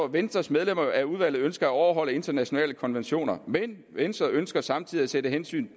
venstres medlemmer af udvalget står overholde internationale konventioner men venstre ønsker samtidig at sætte hensynet